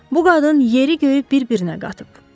Bu qadın yeri göyü bir-birinə qatıb.